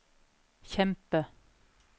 kjempe